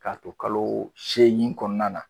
K'a to kalo seegin kɔnɔna na.